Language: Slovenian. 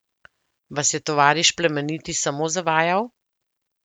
Vas je tovariš Plemeniti samo zavajal?